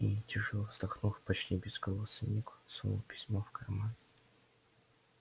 и тяжело вздохнув почти безголосый ник сунул письмо в карман